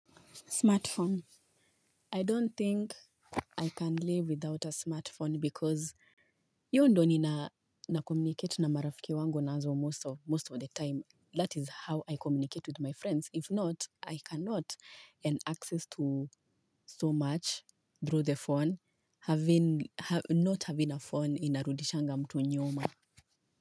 Smartphone. I don't think I can live without a smartphone because hiyo ndio nina communicate na marafiki wangu nazo most of the time. That is how I communicate with my friends. If not, I cannot earn access to so much through the phone not having a phone inarudishanga mtu nyuma.